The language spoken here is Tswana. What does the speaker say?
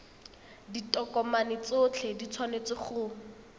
ditokomane tsotlhe di tshwanetse go